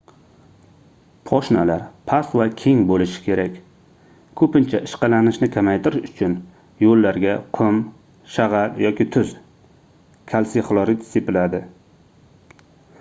poshnalar past va keng bo'lishi kerak. ko'pincha ishqalanishni kamaytirish uchun yo'llarga qum shag'al yoki tuz kalsiy xlorid sepiladi